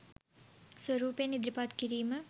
ස්වරූපයෙන් ඉදිරිපත් කිරීම